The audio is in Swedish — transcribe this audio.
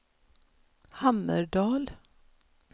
Hammerdal